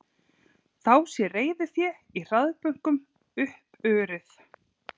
Þá sé reiðufé í hraðbönkum uppurið